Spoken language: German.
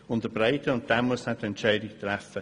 Letzterer muss dann die Entscheidung treffen.